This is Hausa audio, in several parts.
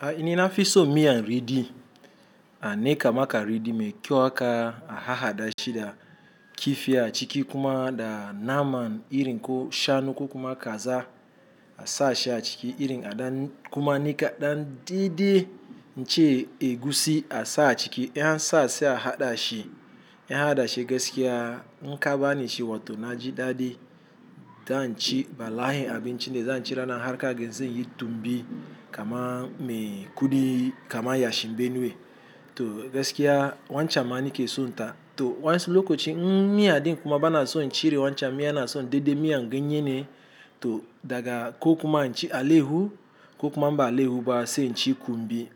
Ai ni na fisso miyan riɗi, a niƙa maka ridi me kyau haka a haɗa shi da kifi a ciki kuma da naman iri ko shanu ko kuma kaza a sa shi a ciki, irin a ɗan kuma nika ɗan dai-dai, ince egusi a sa a ciki. In an sa sai a haɗa shi, in an haɗa shi gaskiya in kaba ni shi watau na ji daɗi. Dan ci bala'in abinci ne, zan ci rana harka ga zanyi tumbi kama me kudi kama yashi benue to gaskiya wancan ma ni ke sonta. To wasu lokacin, in miya din kuma bana so in cire wancan miyan na so dai-dai miyan ganye ne. To daga ko kuma in ci alayyahu ko kuma ba alayyabu ba sai in ci kumbi.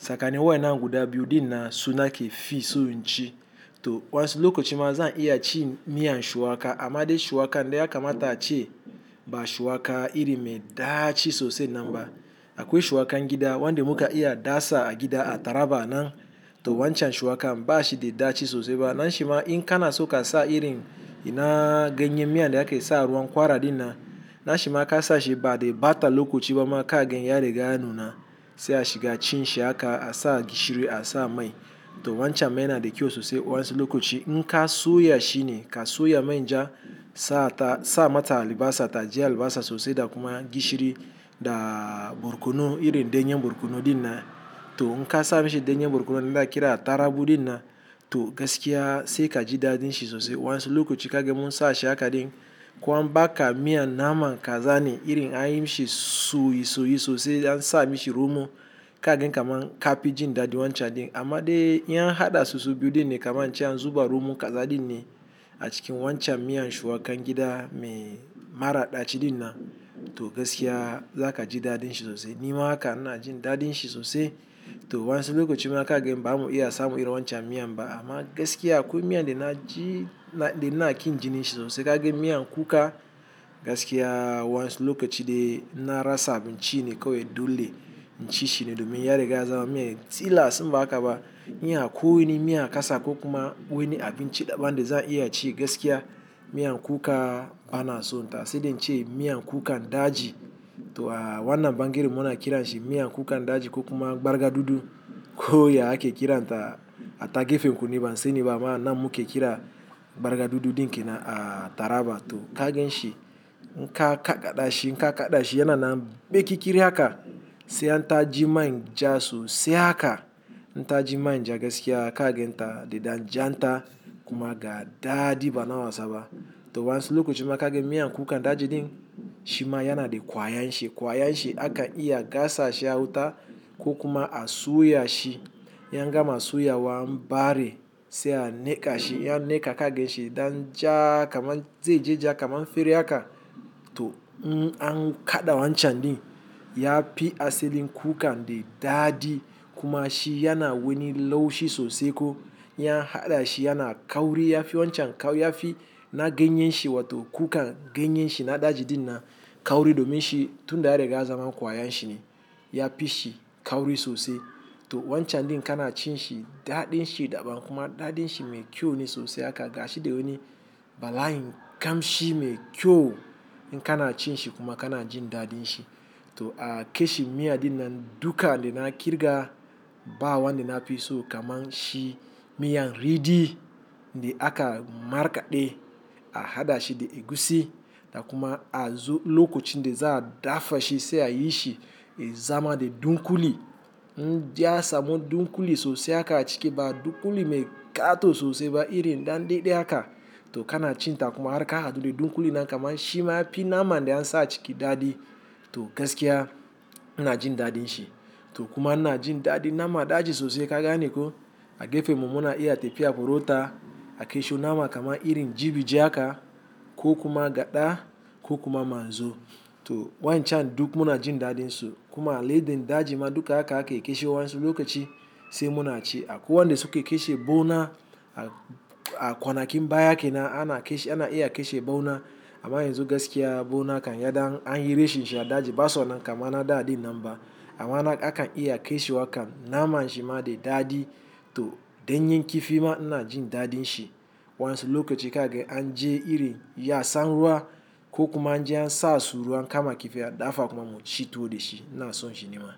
Tsakanin wayannan guda biyu dinnan suna ke fi so in ci. To wasu lokacin ma zan iya ci miyan shuwaka, amma dai shuwaka dai yakamata ace ba shuwaka iri me ɗaci sosai nan ba. Akwai shuwakan gida, wanda muka iya dasa a gida a taraba nan to wancan shuwakan ba shi da ɗaci sosai ba. Nan shima in kana so ka sa irin ina ganye miyan da aka yi sa ruwan ƙwara dinnan, nan shima ka sa shi ba dai bata lokacin ba ma ka gan yari ga ya nuna sai a shiga cin shi haka a sa gishiri a sa mai. To wancan ma yana da kyau sosai wasu lokacin. In ka soya shi ne, ka soya manja sa mata alibasa, taji alibasa sosai da kuma gishiri da borkono, irin dannyan borkono dina. To in ka sa mishi dannyar borkono nan da ake kira tarugu dinnan to gaskiya sai ka ji daɗin shi sosai wasu lokacin ka ga mun sa shi haka din. Ko an baka miyan naman kaza ne, irin an yi mishi soyisoyi sosai an sa mishi romo, ka gan kamar ka fi jin daɗin wancan din. Amma dai iyan haɗa sosai biyu dina kama in ci an zuba romo kaza din ne a cikin wancan miyan shuwakan gida me mara ɗaci dinnan to gaskiya za ka ji daɗin shi sosai. Ni ma haka na ji daɗin shi sosai. To wasu lokacin ma ka gan ba mu iya samu irin wancan miyan ba amma gaskiya akwai miyan da na ji, da na ƙi jin shi sosai ka gayan miyan kuka gaskiya wasu lokacin dai inna rasa abinci ne kawai dole in ci shi ne domin yariga zaman mun tilas inba haka ba, miyan akwai wani miyan ka sa ko kuma wani abinci da ban dai zan iya ci gaskiya miyan kuka bana son ta. Sai dai in ce miyan kukan daji to a wannan bangaren mu na kira shi miyan kukan daji ko kuma ɓarga dudu ko ya ake kira ta a ta gefenku nai ban sani ba ma nan mu ke kira ɓarga dudu ɗin ke na a taraba. To ka gayan shi in ka kaɗa shi, in ka kaɗa shi yana nan baƙi kirin haka sai an ta ji main ja sosai haka. In ta ji manja gaskiya ka gan ta da ɗan jan ta kuma ga dadi bana wasa ba. To wayansu lokacin ma ka ga miyan kukan daji din shima yana da ƙwayan shi, ƙwayan shi akan iya gasa shi a wuta ko kuma a soya shi. In an gama soya wa an ɓare sai a niƙa shi, in an niƙa ka gan shi dan ja kamar zai je ja kamar fere haka. To in an kaɗa wancan din ya fi asalin kukan dai dadi kuma shi yana wani laushi sosai ko in an haɗa shi yana kauri. Ya fi wancan ya fi na ganyen shi watau kukan ganyen shi na daji din na kauri domin shi tun da an riga an zaman ƙwayan shi ne. Ya fi shi kauri sosai. To wancan din kana cin shi daɗin shi da ban kuma daɗin shi me kyau ne sosai haka ga shi dai wani bala'in ƙamshi mai kyau in kana cin shi kuma kana jin daɗin shi. To a ƙe shi miya dina duka dai na ƙirga ba wanda na fi so kamar shi miyan riɗi da aka markaɗe a haɗa shi da egusi da kuma a zo lokacin da za'a dafa shi sai a yi shi zama dai dunƙuli. In dai ansamu dunƙuli sosai haka a ciki ba dunƙuli me ƙato sosai ba irin ɗandede haka to kana cin ta kuma harka hadu dai dunƙuli nan kamar shi ma ya fi naman da an sa a ciki dadi to gaskiya ina jin daɗin shi. To kuma ina jin daɗin naman daji sosai ka gane ko a gefen mu muna iya tafiya buro ta a ƙe shi naman kamar irin jibi je haka ko kuma gaɗa ko kuma manzo. To wancan duk muna jin daɗin su. Kuma aladen daji ma duka haka ake ƙe shi wansi lokacin sai muna ci. Akwai wanda suka ke shi bona a kwanakin baya ke nan ana ƙe shi, ana iya ƙe shi bona amma yanzu gaskiya bona kan ya dai an yi rashin shi a daji ba son nan kamar ana daɗa nan ba amma haka akan iya ke shi wa kam naman shi ma dai dadi to ɗanyen kifi ma ina jin daɗin shi wansi lokacin ka gayan an je iri ya sa ruwa ko kuma an je an sa su ruwan kama kifi a dafa kuma mu ci tuwo da shi, ina so shi ni ma.